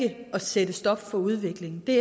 at sætte stop for udvikling det